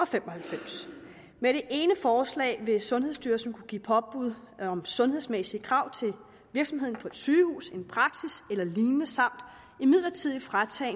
fem og halvfems med det ene forslag vil sundhedsstyrelsen kunne give påbud om sundhedsmæssige krav til virksomheden på et sygehus en praksis eller lignende samt midlertidigt fratage